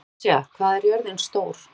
Natasja, hvað er jörðin stór?